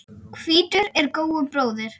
Hvítur er góu bróðir.